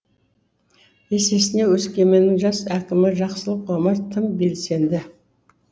есесіне өскеменнің жас әкімі жақсылық омар тым белсенді